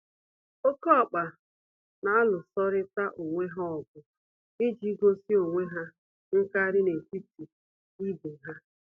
Oké ọkpa n'alụsorịta onwe ha ọgụ iji gosi onwe ha nkarị n'etiti ibe ha.